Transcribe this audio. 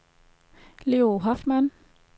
Leo Hoffmann